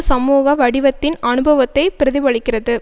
சமூக வடிவத்தின் அனுபவத்தை பிரதிபலிக்கிறது